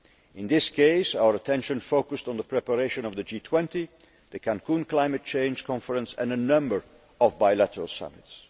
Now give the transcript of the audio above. In this case, our attention focused on the preparation of the G20, the Cancún climate change conference and a number of bilateral summits.